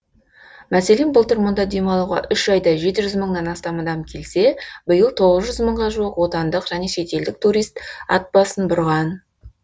мәселен былтыр мұнда демалуға үш айда жеті жүз мыңнан астам адам келсе биыл тоғыз жүз мыңға жуық отандық және шетелдік турист ат басын бұрған